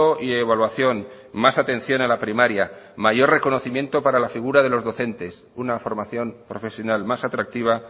y evaluación más atención a la primaria mayor reconocimiento para la figura de los docentes una formación profesional más atractiva